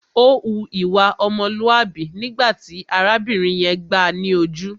Ó hu ìwà ọmọlúàbí nígbà tí arábìnrin yẹn gbáà ni ojú.